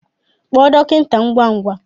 Kpọọ dọkịta ngwa ngwa!